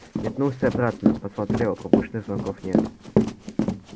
метнулся обратно посмотрел пропущенных звонков нет